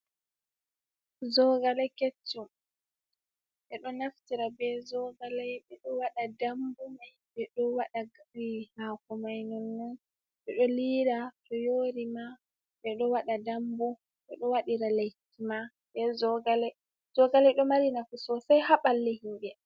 Jogale keccum, ɓe ɗo naftira be jogaley, ɓe ɗo waɗa dambu may, ɓe ɗo waɗa haako may nonnon, ɓe ɗo liira to yoori ma ɓe ɗo waɗa dambu, ɓe ɗo waɗira lekki ma be jogaley, jogale ɗo mari nafu sosay haa balli himɓe.